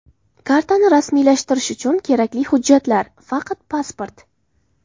Kartani rasmiylashtirish uchun kerakli hujjatlar: Faqat pasport.